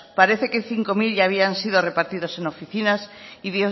parece ser que cinco mil ya habían sido repartidos en oficinas y